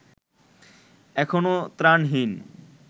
এখনো ত্রাণহীন